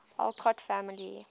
alcott family